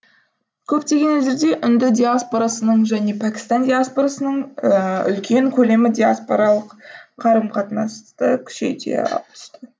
көптеген елдерде үнді диаспорасының және пәкістан диаспорасының үлкен көлемі диаспоралық қарым қатынасты күшейте түсті